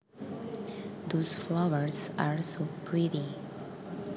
Those flowers are so pretty